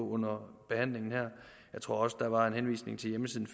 under behandlingen her jeg tror også der var en henvisning til hjemmesiden